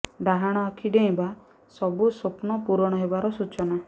ଡାହଣ ଆଖି ଡେଇଁବା ସବୁ ସ୍ୱପ୍ନ ପୂରଣ ହେବାର ସୂଚନା